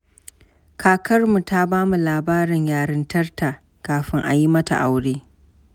Kakarmu ta ba mu labarin yarintarta kafin a yi mata aure.